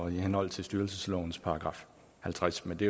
henhold til styrelseslovens § halvtreds men det